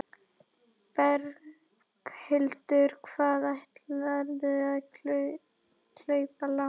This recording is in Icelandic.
Berghildur: Hvað ætlarðu að hlaupa langt?